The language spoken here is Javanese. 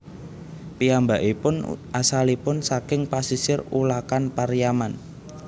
Piyambakipun asalipun saking pasisir Ulakan Pariaman